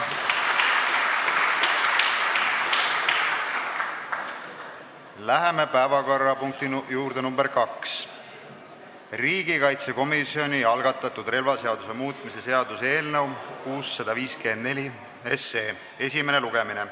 Läheme päevakorrapunkti juurde number 2: riigikaitsekomisjoni algatatud relvaseaduse muutmise seaduse eelnõu esimene lugemine.